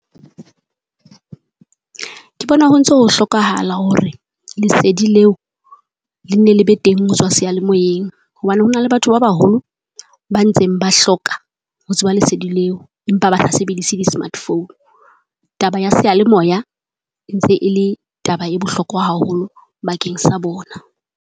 Ke bona ho ntso ho hlokahala hore, lesedi leo le nne le be teng ho tswa seyalemoyeng. Hobane ho na le batho ba baholo, ba ntse ke ba hloka ho tseba lesedi leo empa ba sa sebedise di smart phone. Taba ya seyalemoya e ntse e le taba e bohlokwa haholo bakeng sa bona.